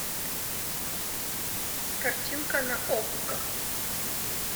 картинка на окко